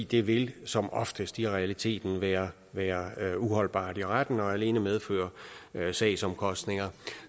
det vil som oftest i realiteten være være uholdbart i retten og alene medføre sagsomkostninger